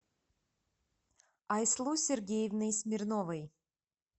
айслу сергеевной смирновой